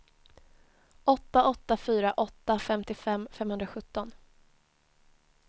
åtta åtta fyra åtta femtiofem femhundrasjutton